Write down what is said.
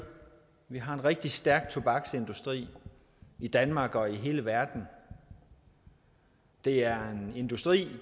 vi har en rigtig stærk tobaksindustri i danmark og i hele verden det er en industri